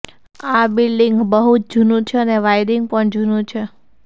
આ બિલ્ડિંગ બહુ જ જૂનું છે અને વાયરિંગ પણ જૂનું છે